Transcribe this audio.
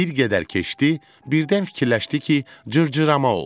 Bir qədər keçdi, birdən fikirləşdi ki, cırcırama olsun.